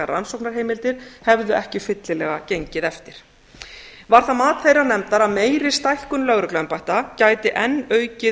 rannsóknarheimildir hefðu ekki fyllilega gengið eftir var það mat þeirrar nefndar að meiri stækkun lögregluembætta gæti enn aukið